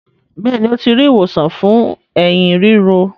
Béèni o ti ri ìwòsàn fún Ẹ̀hín ríro.